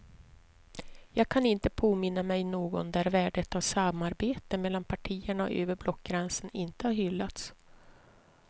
Jag kan inte påminna mig någon där värdet av samarbete mellan partierna och över blockgränsen inte har hyllats.